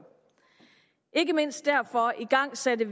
ikke mindst derfor igangsatte